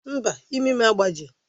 Mba, imi m agbajighị